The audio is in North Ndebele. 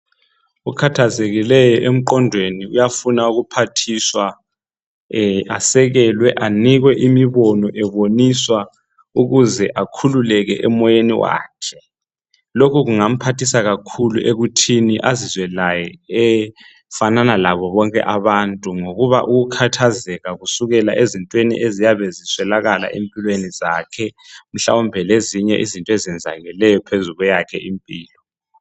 Ukhathazekileyo emqondweni uyafuna ukuphathiswa asekelwe ànikwe imibono eboniswa. Ukuze akhululeke emoyeni wakhe. Lokhu kungamphathisa kakhulu ekuthini azizwe laye efanana labo bonke àbantu. Ngokuba ukukhathazeka kusukela ezintweni eziyabe ziswelakala empilweni zakhe mhlawumbe lezinye izinto ezenzakeleyo phezu kweyakhe impilo.